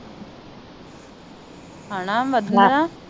ਹੇਨਾ ਵੰਧਨਾ